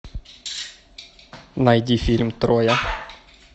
найди фильм троя